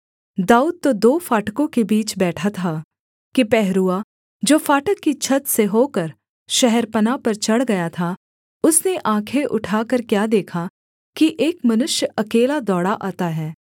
दाऊद तो दो फाटकों के बीच बैठा था कि पहरुआ जो फाटक की छत से होकर शहरपनाह पर चढ़ गया था उसने आँखें उठाकर क्या देखा कि एक मनुष्य अकेला दौड़ा आता है